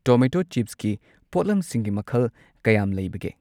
Tomato ꯆꯤꯞꯁꯀꯤ ꯄꯣꯠꯂꯝꯁꯤꯡꯒꯤ ꯃꯈꯜ ꯀꯌꯥꯝ ꯂꯩꯕꯒꯦ?